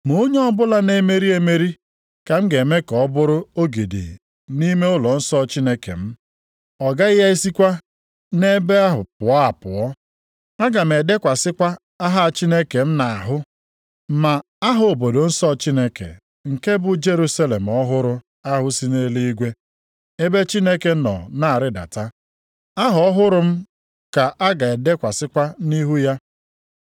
Ma onye ọbụla na-emeri emeri, ka m ga-eme ka ọ bụrụ ogidi nʼime ụlọnsọ Chineke m. Ọ gaghị esikwa nʼebe ahụ pụọ apụọ. Aga m edekwasịkwa aha Chineke m nʼahụ, na aha obodo nsọ Chineke, nke bụ Jerusalem ọhụrụ ahụ si nʼeluigwe, ebe Chineke nọ na-arịdata. Aha ọhụrụ m ka a ga-edekwasịkwa nʼihu ya.